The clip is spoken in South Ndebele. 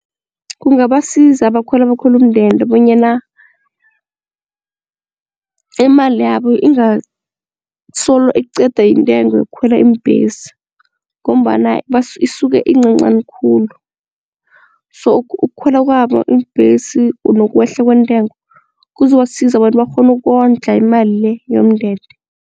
Kungabasiza abakhweli abakhwela umndende bonyana imali yabo ingasolo iqeda yintengo yokukhwela iimbhesi ngombana isuke iyincancani khulu so ukukhwela kwabo iimbhesi nokwehla kwentengo kuzobasiza abantu bakghone ukondla imali le yomndende.